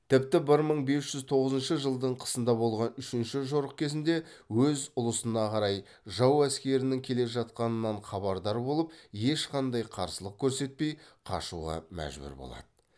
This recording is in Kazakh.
тіпті бір мың бес жүз тоғызыншы жылдың қысында болған үшінші жорық кезінде өз ұлысына қарай жау әскерінің келе жатқанынан хабардар болып ешқандай қарсылық көрсетпей қашуға мәжбүр болады